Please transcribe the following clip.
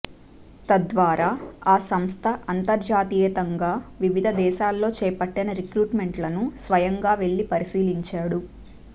తద్వారా ఆ సంస్థ అంతర్జాతీయంగా వివిధ దేశాల్లో చేపట్టిన రిక్రూట్మెంట్లను స్వయంగా వెళ్లి పరిశీలించాడు